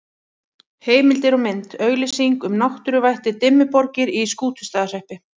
Heimildir og mynd: Auglýsing um náttúruvættið Dimmuborgir í Skútustaðahreppi.